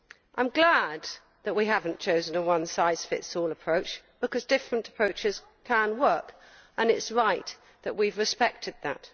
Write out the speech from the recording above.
I am glad that we have not chosen a one size fits all approach because different approaches can work and it is right that we have respected that.